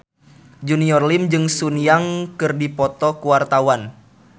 Junior Liem jeung Sun Yang keur dipoto ku wartawan